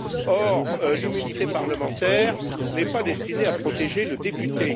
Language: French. Or, l'immunité parlementaire n'est pas destinée à protéger le député.